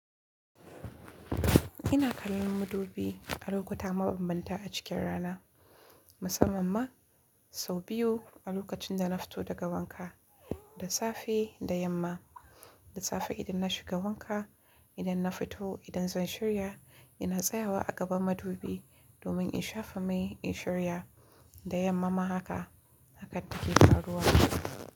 Ina kallon madubi a lokuta mabambanta a cikin rana, musamman ma, sau biyu a lokacin da na fito daga wanka, da safe da yamma. Da safe idan na shiga wanka, idan na fito idan zan shirya ina tsayawa a gaban madubi, domin in shafa mai in shirya da yamma ma haka, hakan take faruwa.